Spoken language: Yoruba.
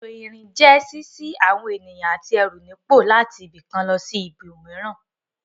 Ètò ìrìn jẹ́ ṣíṣí àwọn ènìyàn àti ẹrù nípò láti ibì kan lọ sí ibòmíràn.